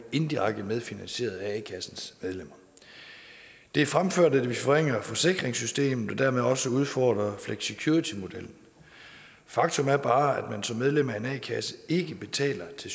indirekte medfinansieret af a kassens medlemmer det er fremført at det vil forringe forsikringssystemet og dermed også udfordre flexicuritymodellen faktum er bare at man som medlem af en a kasse ikke betaler til